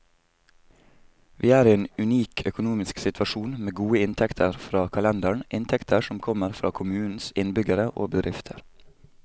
Vi er i en unik økonomisk situasjon, med gode inntekter fra kalenderen, inntekter som kommer fra kommunens innbyggere og bedrifter.